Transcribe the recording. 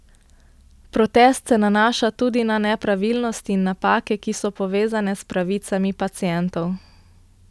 Protest se nanaša tudi na nepravilnosti in napake, ki so povezane s pravicami pacientov.